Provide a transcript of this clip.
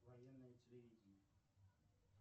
военное телевидение